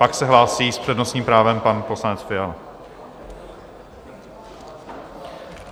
Pak se hlásí s přednostním právem pan poslanec Fiala.